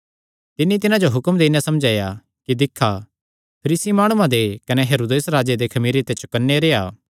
तिन्नी तिन्हां जो हुक्म देई नैं समझाया कि दिक्खा फरीसी माणुआं दे कने हेरोदेस राजे दे खमीरे ते चौकन्ने रेह्आ